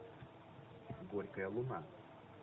горькая луна